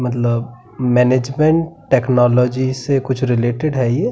मतलब management technology से कुछ रिलेटेड है ये।